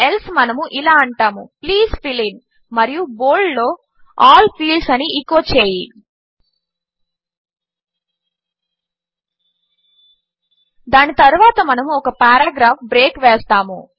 else మనము ఇలా అంటాము ప్లీజ్ ఫిల్ ఇన్ మరియు బోల్డ్లో ఆల్ ఫీల్డ్స్ అని ఎచో చేయి దాని తరువాత మనము ఒక పారాగ్రాఫ్ బ్రేక్ వేస్తాము